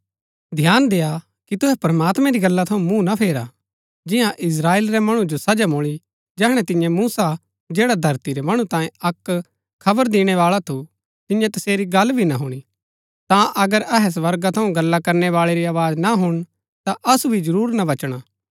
ध्यान देआ कि तुहै प्रमात्मैं री गल्ला थऊँ मूँह ना फेरा जिन्या इस्त्राएल रै मणु जो सजा मुळी जैहणै तिन्ये मूसा जैड़ा धरती रै मणु तांये अक्क खबर दिणैबाळा थू तिन्यै तसेरी गल्ल भी ना हूणी ता अगर अहै स्वर्गा थऊँ गल्ला करनै बाळै री आवाज ना हुणन ता असु भी जरूर ना बचणा